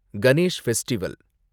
Ganesh festival